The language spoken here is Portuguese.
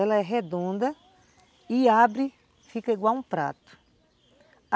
Ela é redonda e abre, fica igual um prato.